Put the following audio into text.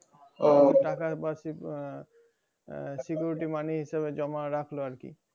টাকার বার্ষিক আহ আহ security money হিসাবে জমা রাখলো আরকি